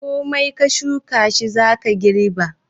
Komai ka shuka shi za ka girba.